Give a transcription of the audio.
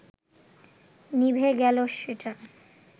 নিভে গেল সেটা